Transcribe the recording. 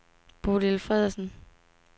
Bodil Feddersen